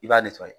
I b'a